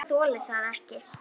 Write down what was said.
Ég þoli það ekki,